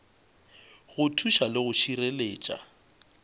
go thuša le go šireletša